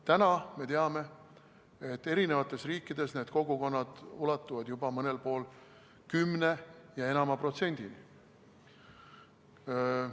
Täna me teame, et eri riikides need kogukonnad ulatuvad juba mõnel pool kümne ja enama protsendini.